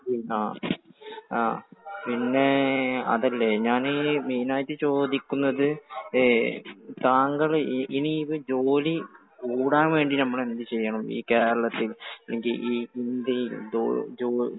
ആ. പിന്നെ അതല്ലേ. ഞാൻ ഈ മെയിൻ ആയിട്ട് ചോദിക്കുന്നത് താങ്കൾ ഇനി ഇത് ജോലി കൂടാൻ വേണ്ടി നമ്മൾ എന്ത് ചെയ്യണം ഈ കേരളത്തിൽ? ഇന്ത്യയിൽ ജോലി